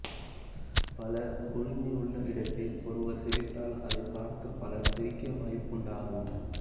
பலர் குழுமியுள்ள இடத்தில் ஒருவர் சிரித்தால் அதைப்பார்த்து பலர் சிரிக்க வாய்ப்புண்டாகும்